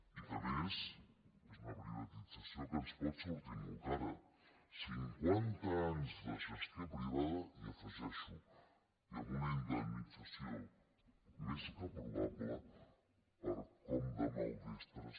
i que a més és una privatització que ens pot sortir molt cara cinquanta anys de gestió privada i hi afegeixo amb una indemnització més que probable per com de maldestres